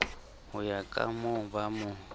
ho ya ka mooba mo